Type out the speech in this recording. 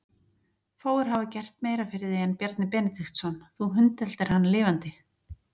Fáir hafa gert meira fyrir þig en Bjarni Benediktsson, þú hundeltir hann lifandi.